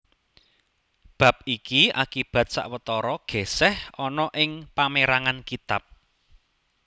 Bab iki akibat sawetara gèsèh ana ing pamérangan kitab